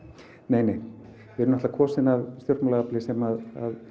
nei nei við erum kosin af stjórnmálaafli sem